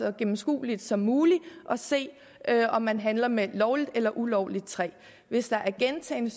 og gennemskueligt som muligt at se om man handler med lovligt eller ulovligt træ hvis der er gentagne